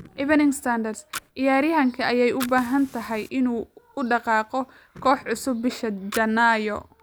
(Evening Standard) Ciyaaryahankee ayay u badan tahay inuu u dhaqaaqo koox cusub bisha Janaayo?